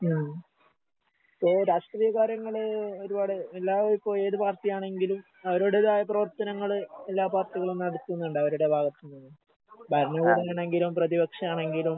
ഉം ഈ രാഷ്ട്രീയ കാര്യങ്ങള് ഒരുപാട് എല്ലാവർക്കും ഏത് പാർട്ടിയാണെങ്കിലും അവരവർടേതായ പ്രവർത്തനങ്ങള് എല്ലാ പാർട്ടികളും നടത്തുന്നുണ്ട് അവരുടെ ഭാഗത്ത്ന്ന്. ഭരണകൂടാണെങ്കിലും പ്രതിപക്ഷാണെങ്കിലും